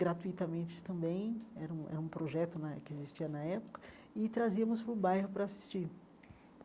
gratuitamente também, era um é um projeto né que existia na época, e trazíamos para o bairro para assistir.